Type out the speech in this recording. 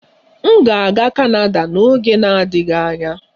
M ga-aga kanada n'oge na-adịghị anya